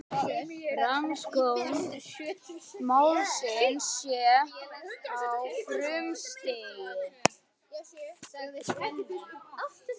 Rannsókn málsins sé á frumstigi